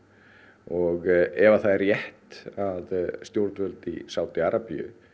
og ef það er rétt að stjórnvöld í Sádí Arabíu